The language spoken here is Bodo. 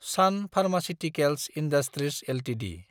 Sun Pharmaceuticals Industries Ltd